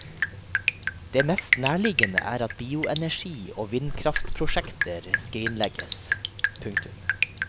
Det mest nærliggende er at bioenergi og vindkraftprosjekter skrinlegges. punktum